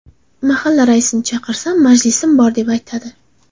Mahalla raisini chaqirsam, majlisim bor deb aytadi.